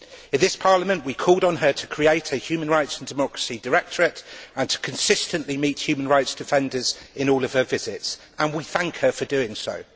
In this Parliament, we called on her to create a human rights and democracy directorate and to consistently meet human rights defenders in all of her visits, and we thank her for doing so.